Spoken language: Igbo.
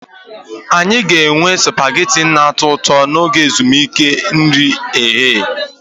Anyị ga-enwe supagetii na-atọ ụtọ n'oge ezumike nri ehihie